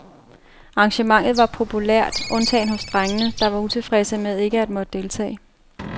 Arrangementet var populært, undtagen hos drengene, der var utilfredse med ikke at måtte deltage.